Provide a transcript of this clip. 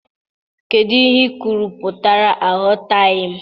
Kedu ihe ikwuru pụtara, aghọtaghị m?